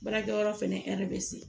Baarakɛyɔrɔ fɛnɛ bɛ se